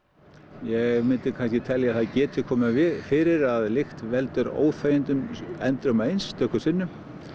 ég myndi kannski telja að það geti komið fyrir að lykt veldur óþægindum endrum og eins stöku sinnum